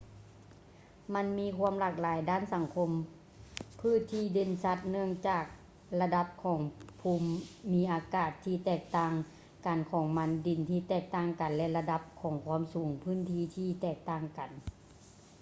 ມັນມີຄວາມຫຼາກຫຼາຍດ້ານສັງຄົມພືດທີ່ເດັ່ນຊັດ ເນື່ອງຈາກລະດັບຂອງພູມມິອາກາດທີ່ແຕກຕ່າງກັນຂອງມັນ ດິນທີ່ແຕກຕ່າງກັນ ແລະ ລະດັບຂອງຄວາມສູງຂອງພື້ນທີ່ທີ່ແຕກຕ່າງກັນ